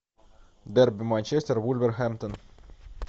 дерби манчестер вулверхэмптон